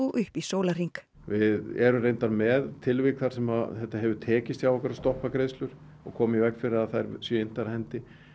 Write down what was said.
upp í sólarhring við erum reyndar með tilvik þar sem þetta hefur tekist hjá okkur að stoppa greiðslur og koma í veg fyrir að þær séu inntar af hendi